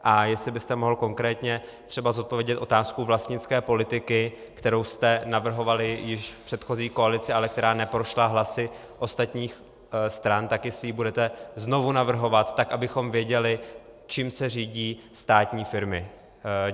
A jestli byste mohl konkrétně třeba zodpovědět otázku vlastnické politiky, kterou jste navrhovali již v předchozí koalici, ale která neprošla hlasy ostatních stran, tak jestli ji budete znovu navrhovat, tak abychom věděli, čím se řídí státní firmy.